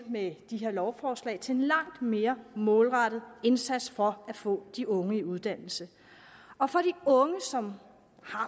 med de her lovforslag til en langt mere målrettet indsats for at få de unge i uddannelse og for de unge som